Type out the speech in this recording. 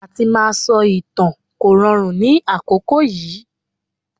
Àti máa sọ ìtàn kò rọrùn ní àkókò yìí.